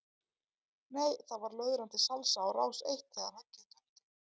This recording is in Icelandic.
Nei það var löðrandi salsa á rás eitt þegar höggið dundi.